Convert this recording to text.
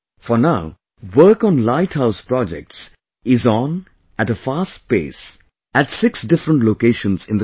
For now, work on Light House Projects is on at a fast pace at 6 different locations in the country